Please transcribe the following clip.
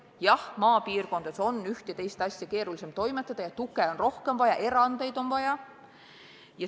Jah, maapiirkondades on üht ja teist asja keerulisem toimetada ja tuge on rohkem vaja, erandeid on vaja.